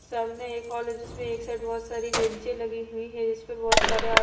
सामने एक कॉलेज है जिसमें एक साइड बहुत सारी बेंचे लगी हुई हैं जिसपे बहुत सारे आ--